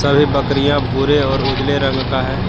ये बकरियां भूरे और उजले रंग का है।